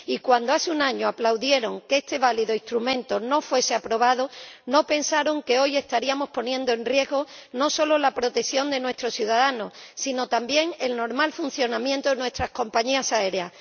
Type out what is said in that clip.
Y cuando, hace un año, aplaudieron que este válido instrumento no fuese aprobado, no pensaron que hoy estaríamos poniendo en riesgo no solo la protección de nuestros ciudadanos, sino también el normal funcionamiento de nuestras compañías